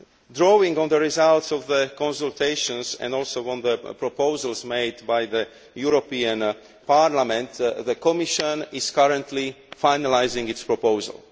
Drawing on the results of the consultations and also on the proposals made by the European Parliament, the Commission is currently finalising its proposal.